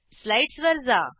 slides वर जा